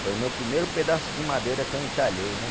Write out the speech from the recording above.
Foi o meu primeiro pedaço de madeira que eu entalhei, né?